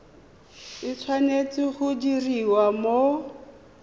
e tshwanetse go diriwa mo